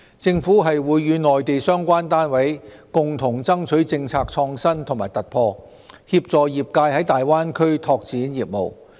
政府會與內地相關單位共同爭取政策創新和突破，協助業界在大灣區拓展業務。